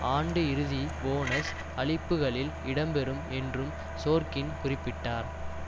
ஆண்டு இறுதி போனஸ் அளிப்புக்களில் இடம் பெறும் என்றும் சோர்க்கின் குறிப்பிட்டார்